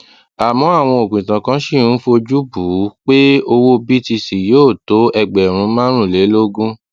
àmọ àwọn òpìtàn kan ṣì ń fojú bù ú pé owó cs] btc yóò tó ẹgbèrún márùnlélógún